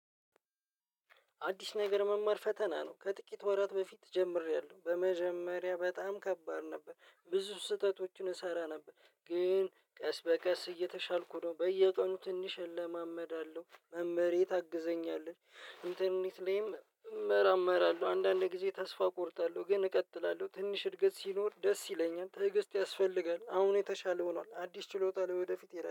አዲስ ነገር መማር ፈተና ነው ከጥቂት ወራት በፊት ጀምሬያለሁ በመጀመሪያ በጣም ከባድ ነበር ብዙ ስህተቶችን እሰራ ነበር ግን ቀስ በቀስ እየተሻልኩ ነው። በየቀኑ ትንሽ እለማመዳለሁ መመሬ ታግዘኛለች ኢንተርኔት ላይም እመራመራለሁ አንዳንድ ጊዜ ተስፋ እቆርጣለሁ ግን እቀጥላለሁ ትንሽ እድገት ሲኖር ደስ ይለኛል። ትዕግስት ያስፈልጋል አሁን የተሻለ ሆኗል። አዲስ ችሎታ ላይ ወደፊት ይላል